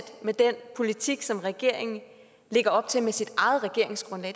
med den politik som regeringen lægger op til med sit eget regeringsgrundlag